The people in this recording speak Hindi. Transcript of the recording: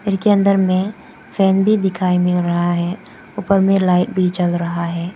के अंदर में फैन भी दिखाई मिल रहा है ऊपर में लाइट भी जल रहा है।